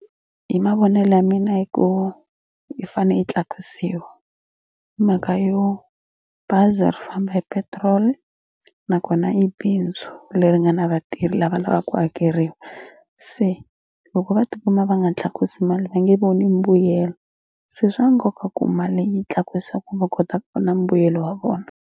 Hi mavonelo ya mina i ku yi fanele yi tlakusiwa mhaka yo bazi ri famba hi petrol nakona i bindzu leri nga na vatirhi lava lavaka ku hakeriwa se loko va tikuma va nga tlakusi mali va nge voni mbuyelo se swa nkoka ku mali yi tlakusa ku va kota ku va na mbuyelo wa vona.